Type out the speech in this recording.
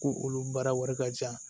Ko olu baara wari ka ca